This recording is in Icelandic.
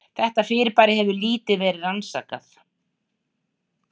Þetta fyrirbæri hefur lítið verið rannsakað.